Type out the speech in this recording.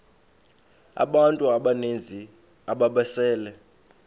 abantu abaninzi ababesele